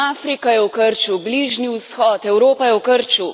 Afrika je v krču, Bližnji vzhod, Evropa je v krču.